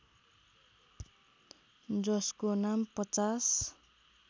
जसको नाम ५०